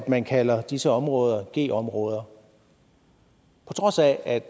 man kalder disse områder ghettoområder på trods af at